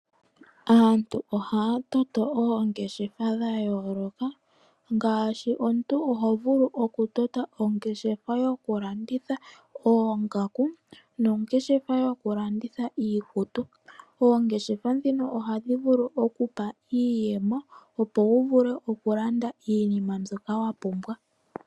Aantu ohaya toto oongeshefa dha yooloka, ngaashi omuntu oho vulu okutota ongeshefa yokulanditha oongaku, nongeshefa yoku landitha iikutu. Oongeshefa dhino ohadhi vulu oku ku pa iiyemo opo wu vule okulanda iinima mbyoka wa pumbwa.